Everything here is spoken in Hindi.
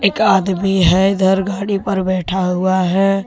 का आदमी हैइधर गाड़ी पर बैठा हुआ है।